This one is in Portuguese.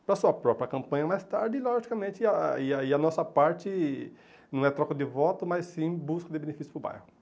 para sua própria campanha, mais tarde, e logicamente, e aí aí a nossa parte não é troca de voto, mas sim busca de benefício para o bairro.